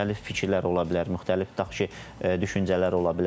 Müxtəlif fikirlər ola bilər, müxtəlif tutaq ki, düşüncələr ola bilər.